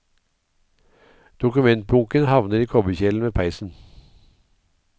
Dokumentbunken havner i kobberkjelen ved peisen.